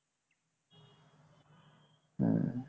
হম